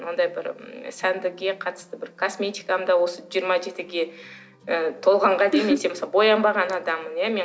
ондай бір сәндікке қатысты бір косметиканы да осы жиырма жетіге ы толғанға дейін мысалы боянбаған адаммын иә мен